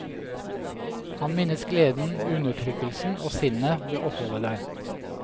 Han minnes gleden, undertrykkkelsen, og sinnet ved oppholdet der.